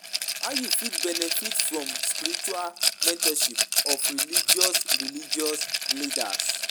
How you fit benefit from spiritual mentorship of religious religious leaders?